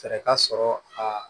Fɛɛrɛ ka sɔrɔ a